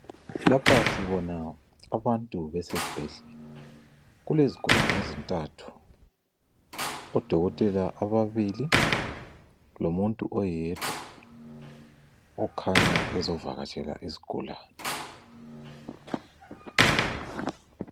Lapha sibona abantu besesibhedlela. Kulezigulanr ezintathu, odokotela ababili, lomuntu oyedwa okhanya ezovakatshela izigulane.